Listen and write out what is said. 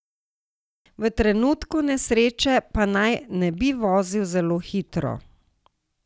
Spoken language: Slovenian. V trenutku nesreče pa naj ne bi vozil zelo hitro.